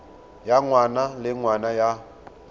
ya ngwaga le ngwaga ya